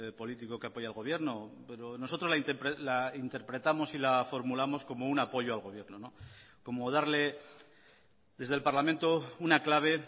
político que apoya al gobierno pero nosotros la interpretamos y la formulamos como un apoyo al gobierno como darle desde el parlamento una clave